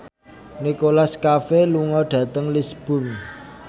Nicholas Cafe lunga dhateng Lisburn